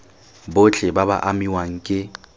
botlhe ba ba amiwang ke